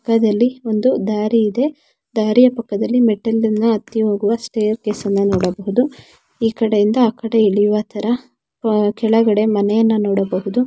ಚಿತ್ರದಲ್ಲಿ ಒಂದು ದಾರಿ ಇದೆ. ದಾರಿಯ ಪಕ್ಕದಲ್ಲಿ ಹತ್ತಿ ಹೋಗುವ ಸ್ಟೈರ್ಕ್ಸೇ ಅನ್ನ ನೋಡಬಹುದು. ಈಕಡೆ ಇಂದ ಆಕಡೆ ಇಳಿಯುವ ತರಾ ಅ ಕೆಳಗಡೆ ಮನೆಯನ ನೋಡಬಹುದು.